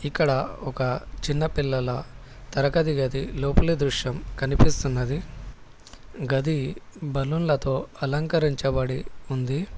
ఇక్కడ ఒక చిన్న పిల్లల తరగతి గది లోపల దృశ్యం కనిపిస్తున్నది గది బలూన్ల తో అలంకరించబడి ఉంది.